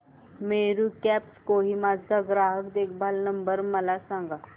Meru cabs Kohima चा ग्राहक देखभाल नंबर मला सांगा